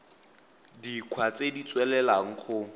dikgwa tse di tswelelang go